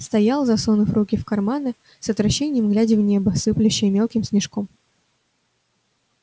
стоял засунув руки в карманы с отвращением глядя в небо сыплющее мелким снежком